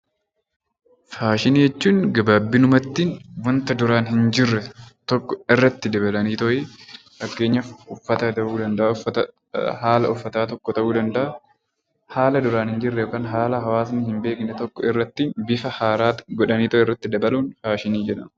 Faashinii jechuun gabaabaa dhumatti wanta duraan hin jirre irratti dabalanii fakkeenyaaf haala uffannaa ta'uu danda'a wanta duraan hin jirre irratti dabalanuun faashinii jedhama.